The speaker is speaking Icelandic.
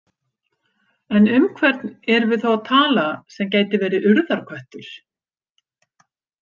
En um hvern erum við þá að tala sem gæti verið Urðarköttur?